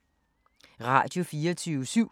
Radio24syv